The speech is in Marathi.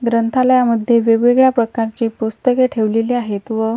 ग्रंथालयामध्ये वेगवेगळ्या प्रकारची पुस्तके ठेवलेली आहेत व--